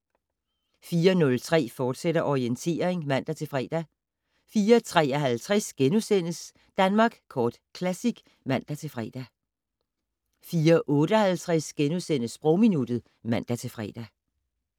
04:03: Orientering, fortsat (man-fre) 04:53: Danmark Kort Classic *(man-fre) 04:58: Sprogminuttet *(man-fre)